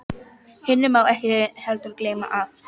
Hinu má ekki heldur gleyma, að